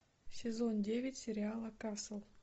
сезон девять сериала касл